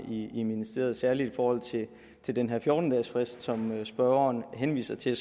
i ministeriet særlig i forhold til den her fjorten dages frist som spørgeren henviser til